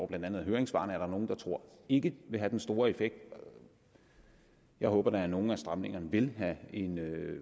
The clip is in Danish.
blandt andet af høringssvarene er der nogle der tror ikke vil have den store effekt jeg håber da at nogle af stramningerne vil have en